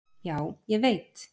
Já, ég veit.